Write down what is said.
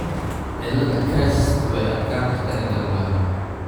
cilada CREST way adkaan kartaa in la ogaado.